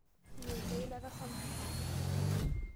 Iela eilata sapuk enkomom?